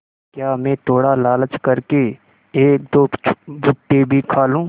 क्या मैं थोड़ा लालच कर के एकदो भुट्टे भी खा लूँ